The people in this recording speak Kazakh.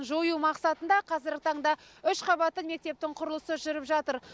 жою мақсатында қазіргі таңда үш қабатты мектептің құрылысы жүріп жатыр